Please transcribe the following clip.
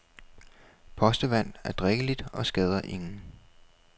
Postevand er drikkeligt og skader ingen.